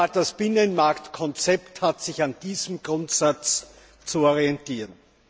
Das Binnenmarktkonzept hat sich an diesem Grundsatz zu orientieren.